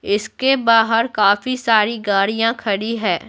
इसके बाहर काफी सारी गाड़ियां खड़ी है।